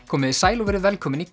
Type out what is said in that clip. komiði sæl og verið velkomin í